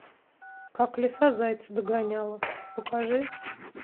как лиса зайца догоняла покажи